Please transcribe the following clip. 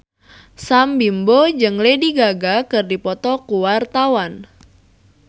Sam Bimbo jeung Lady Gaga keur dipoto ku wartawan